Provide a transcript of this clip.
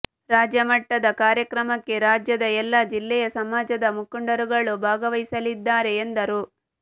ರಾಜ್ಯ ಮಟ್ಟದ ಕಾರ್ಯಕ್ರಮಕ್ಕೆ ರಾಜ್ಯದ ಎಲ್ಲಾ ಜಿಲ್ಲೆಯ ಸಮಾಜದ ಮುಖಂಡರುಗಳು ಭಾಗವಹಿಸಿಲಿದ್ದಾರೆ ಎಂದರು